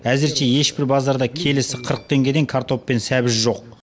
әзірше ешбір базарда келісі қырық теңгеден картоп сәбіз жоқ